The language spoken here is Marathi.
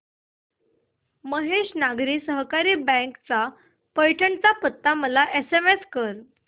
महेश नागरी सहकारी बँक चा पैठण चा पत्ता मला एसएमएस कर